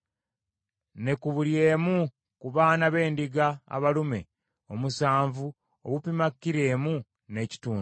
ne ku buli emu ku baana b’endiga abalume omusanvu obupima kilo emu n’ekitundu.